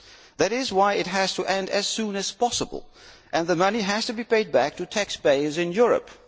That is why it has to end as soon as possible and the money has to be paid back to taxpayers in Europe.